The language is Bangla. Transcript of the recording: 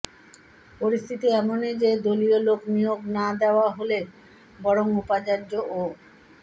পরিস্থিতি এমনই যে দলীয় লোক নিয়োগ না দেওয়া হলে বরং উপাচার্য ও